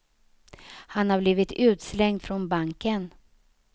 Han har blivit utslängd från banken.